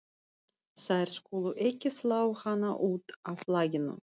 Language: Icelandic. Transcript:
Þær skulu ekki slá hana út af laginu.